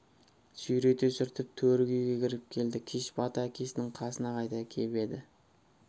сүйрете сүртіп төргі үйге кіріп келді кеш бата әкесінің қасына қайта кеп еді